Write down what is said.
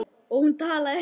Og hún talaði.